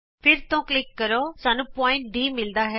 ਫਿਰ ਤੋਂ ਕਲਿਕ ਕਰੋ ਸਾਨੂੰ ਬਿੰਦੂ Dਮਿਲਦਾ ਹੈ